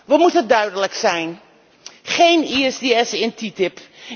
We moeten duidelijk zijn geen ISDS in TTIP.